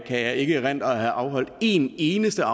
jeg ikke erindre at have afholdt en eneste